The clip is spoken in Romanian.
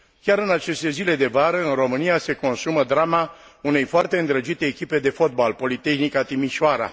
Chiar în aceste zile de vară în România se consumă drama unei foarte îndrăgite echipe de fotbal, Politehnica Timișoara.